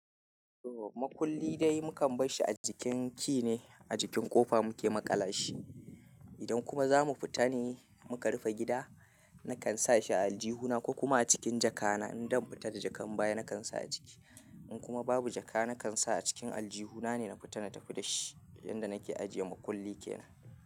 Makulli dai mukan barshi ajikin key ne, ajikin ƙofa muke maƙala shi. Idan kuma za mu fita ne muka rufe gida, nakan sa shi a aljihuna ko kuma a cikin jaka na. Idan fita da jaka baya nakan sa a ciki. In kuma babu jaka nakan sa a cikin aljihuna ne na fita na tafi da shi. Inda nake ajiye makulli kenan.